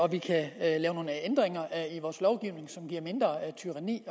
vi kan lave ændringer i vores lovgivning som giver mindre regeltyranni